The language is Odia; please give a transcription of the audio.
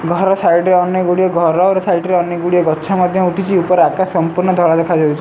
ଘର ସାଇଡ ରେ ଅନେକ ଗୁଡ଼ିଏ ଘର ଘର ସାଇଡ ରେ ଅନେକ ଗୁଡ଼ିଏ ଗଛ ମଧ୍ୟ ଉଠିଛି ଉପରେ ଆକାଶ ସମ୍ପ୍ରୁନ ଧଳା ଦେଖା ଯାଉଛି।